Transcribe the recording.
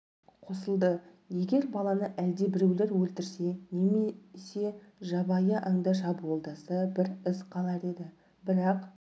қосылды егер баланы әлдебіреулер өлтірсе не болмаса жабайы аңдар шабуылдаса бір із қалар еді бірақ